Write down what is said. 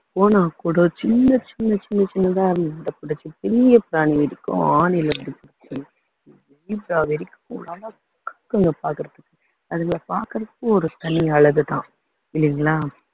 போனா கூட சின்ன சின்ன சின்ன சின்னதா இருந்த பெரிய பிராணி வரைக்கும் zebra வரைக்கும் பாக்குறதுக்கு அதுங்களை பாக்குறதுக்கு ஒரு தனி அழகுதான் இல்லைங்களா